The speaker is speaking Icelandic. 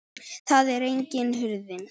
Þar er einnig hurðin.